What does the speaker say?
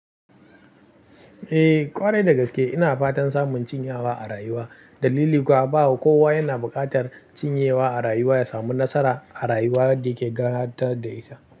Eh ƙwarai dagaske ina fatan samun cinyewa a rayuwa, dalili kuwa ba kowa yana buƙatar cinyewa a rayuwa ya samu nasara a rayuwar da ke gatare da ita.